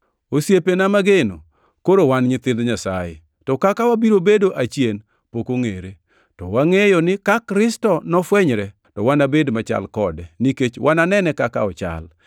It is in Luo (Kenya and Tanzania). Osiepena mageno, koro wan nyithind Nyasaye, to kaka wabiro bedo achien pok ongʼere. To wangʼeyo ni ka Kristo nofwenyre, to wanabed machal kode, nikech wananene kaka ochal.